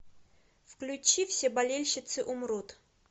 включи все болельщицы умрут